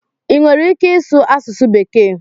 ị nwere ike ịsụ asụsụ Bekee?